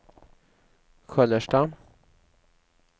Sköllersta